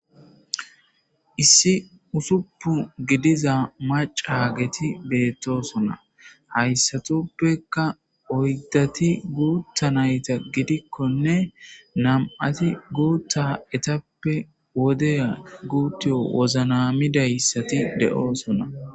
Issi usuppu gidiza macaageti beettoosona. Ha issatoppekka oyddati guutta nayta gidikkonne nam'ati guutta etappe wodiya guuttiy woznamida asati de'osona.